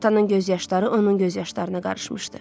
Atanın göz yaşları onun göz yaşlarına qarışmışdı.